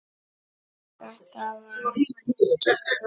Þetta varð að gerast.